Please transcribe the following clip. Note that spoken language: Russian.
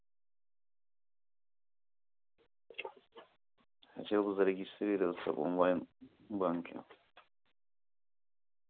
хотел зарегистрироваться в онлайн банке